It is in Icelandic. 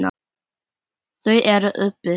Þau eru uppi.